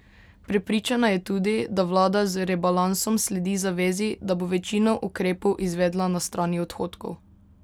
Prepričana je tudi, da vlada z rebalansom sledi zavezi, da bo večino ukrepov izvedla na strani odhodkov.